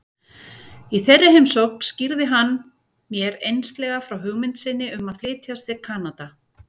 Í þeirri heimsókn skýrði hann mér einslega frá hugmynd sinni um að flytjast til Kanada.